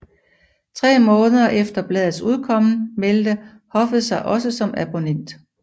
Tre måneder efter bladets udkommen meldte hoofet sig også som abonnoment